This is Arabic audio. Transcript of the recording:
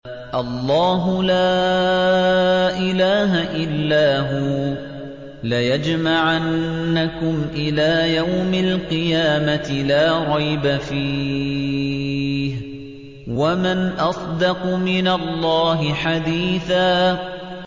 اللَّهُ لَا إِلَٰهَ إِلَّا هُوَ ۚ لَيَجْمَعَنَّكُمْ إِلَىٰ يَوْمِ الْقِيَامَةِ لَا رَيْبَ فِيهِ ۗ وَمَنْ أَصْدَقُ مِنَ اللَّهِ حَدِيثًا